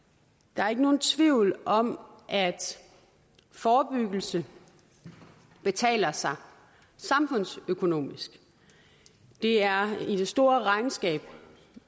der er ikke nogen tvivl om at forebyggelse betaler sig samfundsøkonomisk det er i det store regnskab